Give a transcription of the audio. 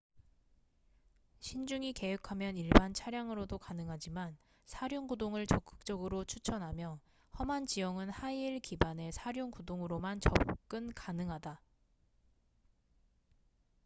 신중히 계획하면 일반 차량으로도 가능하지만 사륜구동을 적극적으로 추천하며 험한 지형은 하이힐 기반의 사륜구동으로만 접근 가능하다